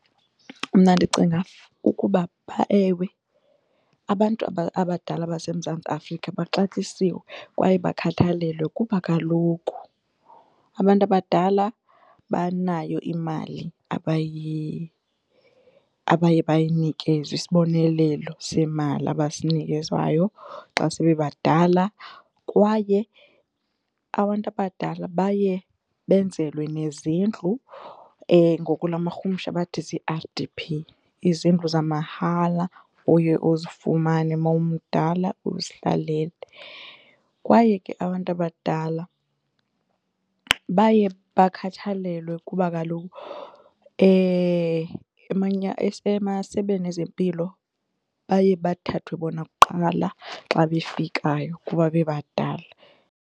Mna ndicinga ukuba, ewe, abantu abadala baseMzantsi Afrika baxatyisiwe kwaye bakhathalelwe kuba kaloku abantu abadala banayo imali abaye bayinikezwe, isibonelelo semali abasinikezwayo xa sebebadala kwaye abantu abadala baye benzelwe nezindlu ngokwelamarhumsha bathi zii-R_D_P izindlu zamahala oye uzifumane mawumdala uzihlalele. Kwaye ke abantu abadala baye bakhathalelwe kuba kaloku emasebeni ezempilo baye bathathwe bona kuqala xa befikayo kuba bebadala.